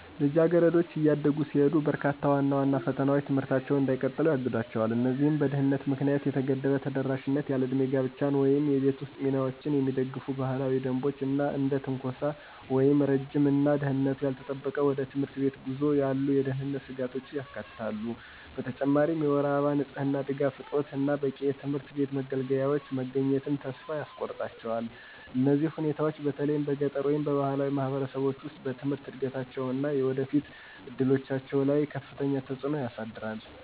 ልጃገረዶች እያደጉ ሲሄዱ፣ በርካታ ዋና ዋና ፈተናዎች ትምህርታቸውን እንዳይቀጥሉ ያግዷቸው። እነዚህም በድህነት ምክንያት የተገደበ ተደራሽነት፣ ያለዕድሜ ጋብቻን ወይም የቤት ውስጥ ሚናዎችን የሚደግፉ ባህላዊ ደንቦች፣ እና እንደ ትንኮሳ ወይም ረጅም እና ደህንነቱ ያልተጠበቀ ወደ ትምህርት ቤት ጉዞ ያሉ የደህንነት ስጋቶችን ያካትታሉ። በተጨማሪም የወር አበባ ንጽህና ድጋፍ እጦት እና በቂ የትምህርት ቤት መገልገያዎች መገኘትን ተስፋ ያስቆርጣቸዋል። እነዚህ ሁኔታዎች፣ በተለይም በገጠር ወይም በባህላዊ ማህበረሰቦች ውስጥ፣ በትምህርት እድገታቸው እና የወደፊት እድሎቻቸው ላይ ከፍተኛ ተጽዕኖ ያሳድራል።